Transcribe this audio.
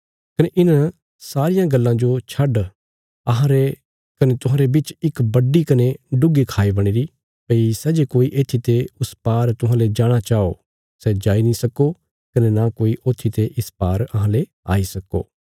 कने इन सारी गल्लां जो छड्ड अहांरे कने तुहांरे बिच इक बड्डी कने डुग्गी खाई बणीरी भई सै जे कोई येत्थीते उस पार तुहांले जाणा चाओ सै जाई नीं सक्को कने न कोई ओत्थी ते इस पार अहांले आई सक्को